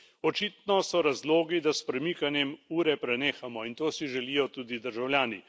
Očitno so razlogi, da s premikanjem ure prenehamo in to si želijo tudi državljani.